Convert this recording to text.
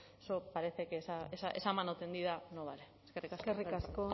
parece que esa mano tendida no vale eskerrik asko eskerrik asko